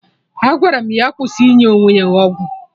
Agwara m ya kwụsị inye onwe ya ọgwụ